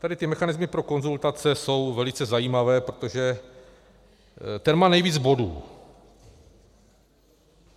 Tady ty mechanismy pro konzultace jsou velice zajímavé, protože ten má nejvíc bodů.